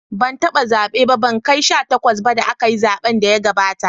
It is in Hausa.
Ban taba zabe ba, ban kai sha takwas ba da akayi zaben da ya gabata.